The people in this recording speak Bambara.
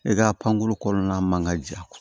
E ka pankuru kɔnɔna man ka ja